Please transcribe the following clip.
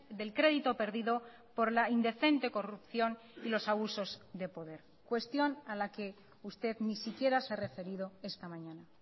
del crédito perdido por la indecente corrupción y los abusos de poder cuestión a la que usted ni siquiera se ha referido esta mañana